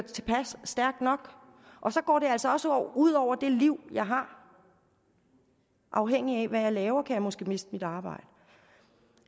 stærkt nok og så går det altså også ud over det liv jeg har afhængigt af hvad jeg laver kan jeg måske miste mit arbejde